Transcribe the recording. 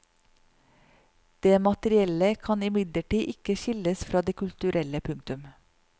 Det materielle kan imidlertid ikke skilles fra det kulturelle. punktum